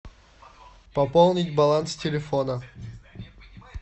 пополнить баланс телефона